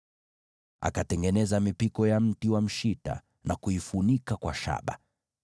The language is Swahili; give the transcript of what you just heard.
Akatengeneza mipiko ya mti wa mshita na kuifunika kwa shaba.